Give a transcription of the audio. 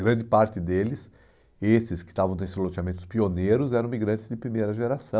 Grande parte deles, esses que estavam nesse loteamento pioneiros, eram imigrantes de primeira geração.